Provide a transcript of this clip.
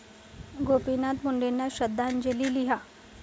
गोपीनाथ मुंडेंना श्रद्धांजली लिहा